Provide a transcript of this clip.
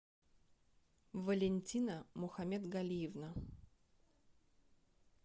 валентина мухаметгалиевна